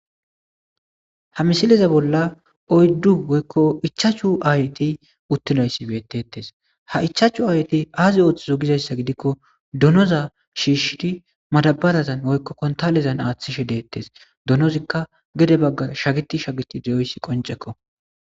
Ha missileza bolla oyiddu woyikko ichchachu ayeti uttidayisi bettetes ha ichchachu ayetti azi oththizo gizayissa giddiko donnoza shishidi maddabarazan woyikko konttallezan aththishe dettes donnozikka gedde baggan shageti shageti de'oyissi qonccekko.